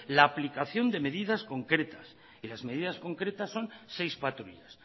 la aplicación de medidas concretas y las medidas concretas son seis patrullas